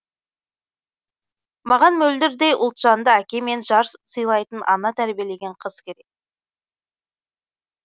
маған мөлдірдей ұлтжанды әке мен жар сылайтын ана тәрбиелеген қыз керек